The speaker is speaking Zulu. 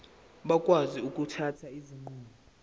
bakwazi ukuthatha izinqumo